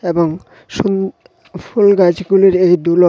এবং শুন ফুল গাছগুলির এই দুলন--